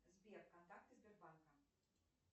сбер контакты сбербанка